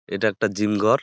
এইটা একটা জিম ঘর।